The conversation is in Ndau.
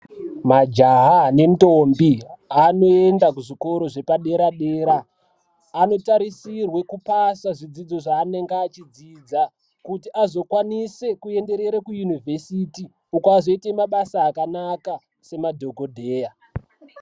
Majaha nentombi anoenda kuzvikoro zvepadera dera anotarisirwe kupasa zvidzidzo zvaanenge achidzidza kuti azokwanise kuenderere kuyunivhesiti kuti azoite mabasa akanaka semadhokodheya.